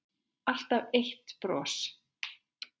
Alltaf eitt bros.